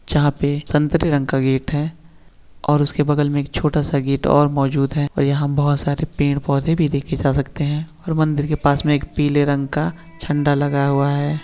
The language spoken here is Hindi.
जहाँ पे संतरे रंग का गेट है और उसके बगल में एक छोटा सा गेट और मौजूद है और यहां बहोत सारे पेड़ पौधे भी देखे जा सकते हैं और मंदिर के पास में एक पीले रंग का झंडा लगाया हुआ है।